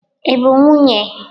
Ị bụ nwunye?